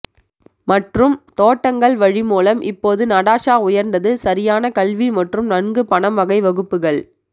மற்றும் தோட்டங்கள் வழி மூலம் இப்போது நடாஷா உயர்ந்தது சரியான கல்வி மற்றும் நன்கு பணம் வகை வகுப்புகள்